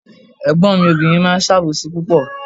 Ègbón mi obìnrin máa ń sàbòsí púpọ̀